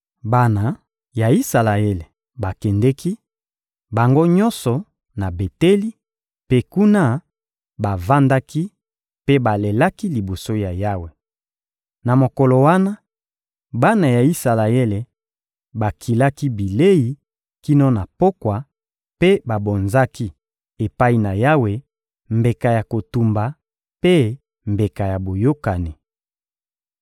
Bana ya Isalaele bakendeki, bango nyonso, na Beteli, mpe kuna, bavandaki mpe balelaki liboso ya Yawe. Na mokolo wana, bana ya Isalaele bakilaki bilei kino na pokwa mpe babonzaki, epai na Yawe, mbeka ya kotumba mpe mbeka ya boyokani.